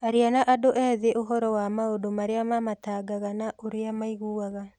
Aria na andũ ethĩ ũhoro wa maũndu arĩa mamatangaga na ũrĩa maiguaga.